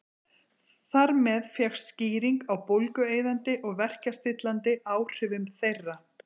Þar með fékkst skýring á bólgueyðandi og verkjastillandi áhrifum þeirra.